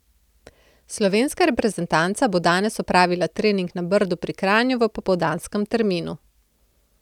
Slovenska reprezentanca bo danes opravila trening na Brdu pri Kranju v popoldanskem terminu.